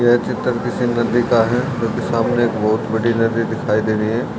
यह चित्र किसी नदी का है जो कि सामने एक बहोत बड़ी नदी दिखाई दे रही है।